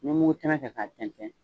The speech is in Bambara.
N bɛ mugutɛmɛ kɛ k'a tɛntɛn